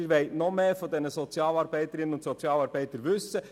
Sie wollen noch mehr von den Sozialarbeiterinnen und Sozialarbeitern wissen.